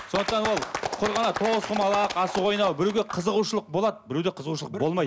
сондықтан ол тоғызқұмалақ асық ойнау біреуге қызығушылық болады біреуде қызығушылық болмайды